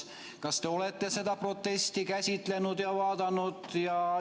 Kas te olete seda protesti käsitlenud ja vaadanud?